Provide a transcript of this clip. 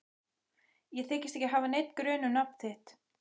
Ég þykist ekki hafa neinn grun um nafn þitt.